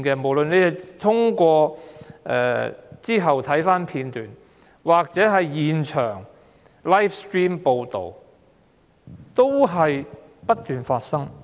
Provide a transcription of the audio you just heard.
無論事後翻看片段，或現場直播報道，太多個案不斷發生。